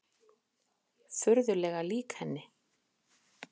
Furðulega lík henni.